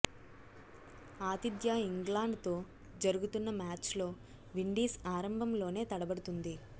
ఆతిథ్య ఇంగ్లాండ్ తో జరుగుతున్న మ్యాచ్ లో విండీస్ ఆరంభంలోనే తడబడుతోంది